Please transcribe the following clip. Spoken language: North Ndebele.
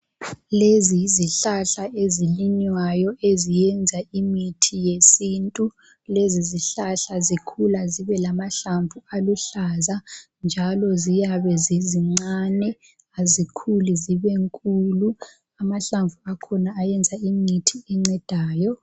Lezi yizihlahla ezilinywayo eziyenza imithi yesintu. Lezi zihlahla zikhula zibelamahlamvu aluhlaza njalo ziyabe zizincane, azikhuli zibenkulu. Amahlamvu akhona ayenza imithi encedayo.